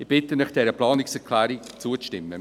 Ich bitte Sie, dieser Planungserklärung zuzustimmen.